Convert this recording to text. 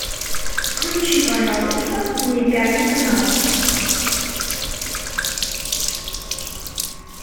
включи пожалуйста мне пятый канал